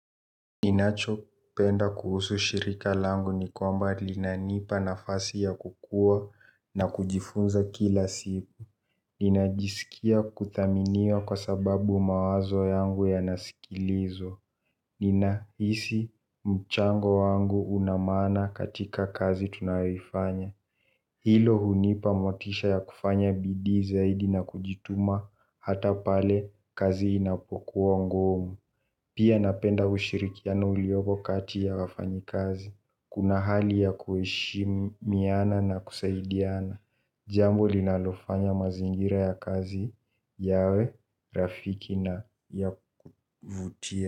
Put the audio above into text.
Ninacho penda kuhusu shirika langu ni kwamba linanipa nafasi ya kukua na kujifunza kila siku. Ninajisikia kuthaminiwa kwa sababu mawazo yangu yanasikilizwa. Ninahisi mchango wangu unamaana katika kazi tunayoifanya. Hilo hunipa motisha ya kufanya bidii zaidi na kujituma hata pale kazi inapokuwa ngumu pia napenda ushirikiano uliopo kati ya wafanya kazi. Kuna hali ya kueshimiana na kusaidiana. Jambo linalofanya mazingira ya kazi yawe, rafiki na ya kuvutia.